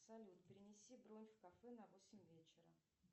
салют перенеси бронь в кафе на восемь вечера